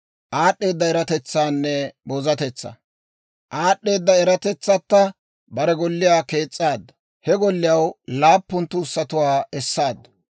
Aad'd'eeda eratetsatta bare golliyaa kees's'aaddu; he golliyaw laappun tuussatuwaa essaaddu.